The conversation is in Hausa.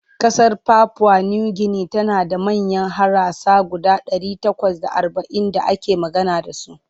Ƙasar papua New Guinea tana da manyan harasa guda ɗari takwas da arba'in da ake magana da su.